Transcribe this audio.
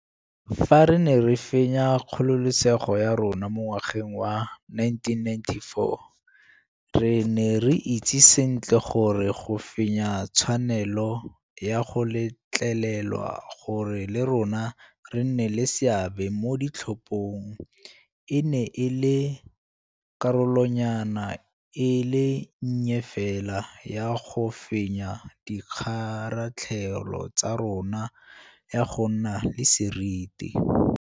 Fa re ne re fenya kgololesego ya rona mo ngwageng wa 1994, re ne re itse sentle gore go fenya tshwanelo ya go letlelelwa gore le rona re nne le seabe mo ditlhophong e ne e le karolonyana e le nnye fela ya go fenya kgaratlhelo ya rona ya go nna le seriti.